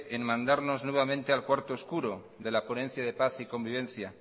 nuevamente en mandarnos nuevamente al cuarto oscuro de la ponencia de paz y convivencia